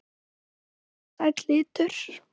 Vinsæll litur.